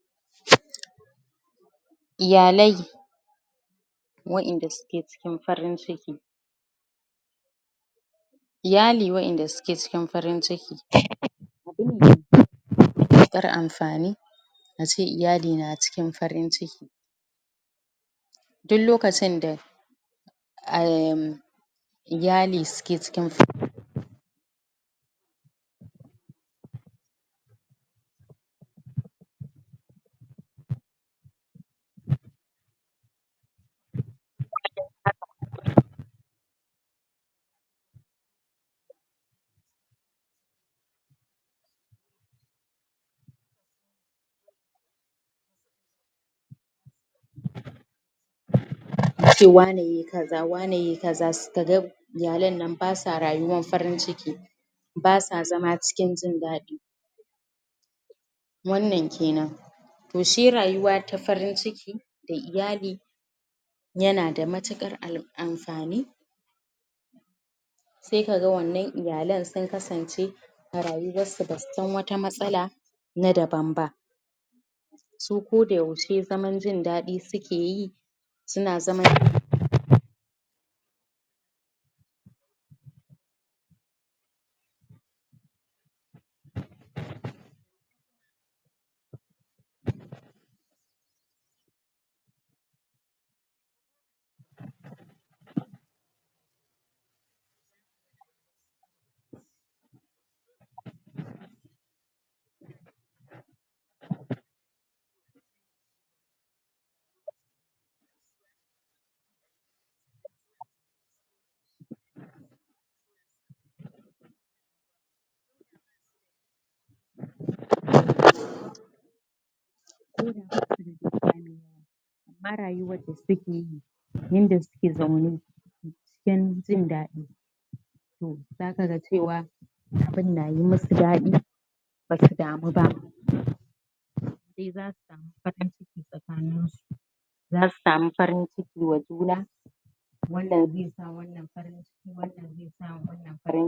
Assalamu alaikum barkanmu da yammanci zanyi bayani kan hanyoyin da akebi wajen wajen keɓance wanda ake zarginsu da wani cutanda zai iyya yaɗawa jama’a. Ko hanyan da za’abi wajen yaɗuwar cuta a tsakanin al’umma. Abu na farko dai shine a yawaita wanke hannu da sabulu bayan anwanke a rinƙa gogewa a tsaftataccen ko gogaggen wuri. A rinkashan ruwa isasshe saboda kar a rinka samun karancin ruwa a cikin jiki. A rinka amfani da sabulun da zai wanke kwayoyin cuta daga hannun mutun a rinka yawaita wanke hannu. Bayan wanna kuma akwai tazara tsakanin mutun da ɗan uwanshi, baya ga haka a rinka barin kofofi da wuduna iska ya rinka shiga da fita kada ya zamana numfashi na cunkusuwa guri ɗaya I rinka samun iska yana ratsawa a tsakani. A kiyayi gaisawa hannu da hannu sabida akwai cututtukan da daga zuwa hannu zai iyya raɓan jama’a. sannan abu na ƙarshe kuma mafi mahimmanci aguji taruwan jama’a a guri ɗaya. A guji abinda zaisa jama’a su taru,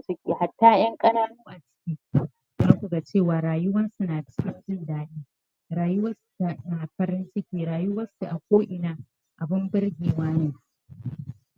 cututtuka da yawa zasu yaɗu a cikin al’umma. Nagode